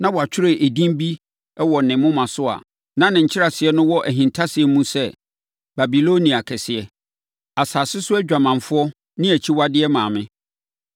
Na wɔatwerɛ edin bi wɔ ne moma so a ne nkyerɛaseɛ no wɔ ahintasɛm mu sɛ, “Babilonia kɛseɛ asase so adwamanfoɔ ne akyiwadeɛ maame.”